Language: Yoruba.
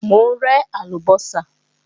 Mò ń rẹ́ àlùbọ́sà